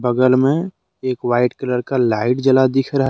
बगल में एक व्हाइट कलर का लाइट जला दिख रहा--